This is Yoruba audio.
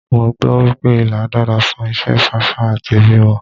Mo gbọ́ wípé Ilá dára fún ìṣe fáfá àti bímọ.